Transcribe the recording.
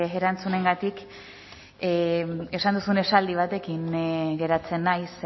erantzunengatik esan duzun esaldi batekin geratzen naiz